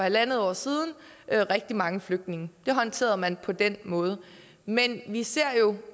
en halv år siden var rigtig mange flygtninge det håndterede man på den måde men vi ser jo